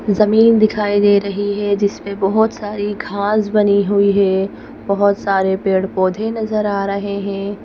जमीन दिखाई दे रही है जिस पे बहोत सारी घास बनी हुई है बहुत सारे पेड़ पौधे नजर आ रहे है।